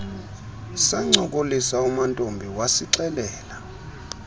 sancokolisa mantombi wasixelela